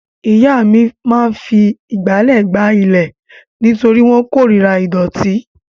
Ìyá mi máa fi ìgbálẹ̀ gbá ilẹ̀ nítorí wọ́n korira ìdọ̀tí.